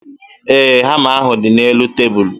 Ee, hama ahụ dị n'elu tebulu